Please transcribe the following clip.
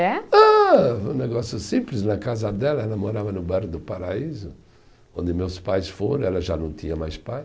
É. Ah, um negócio simples, na casa dela, ela morava no bairro do Paraíso, onde meus pais foram, ela já não tinha mais pai.